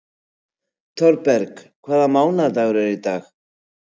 Thorberg, hvaða mánaðardagur er í dag?